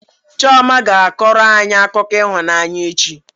Chioma ga-akọrọ anyị akụkọ ịhụnanya echi.